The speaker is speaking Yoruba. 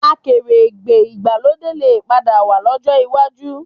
Akèrègbè ìgbàlódé lè padà wà lọ́jọ́ iwájú